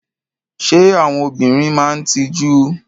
Ṣé àwọn obìnrin máa ń tijú?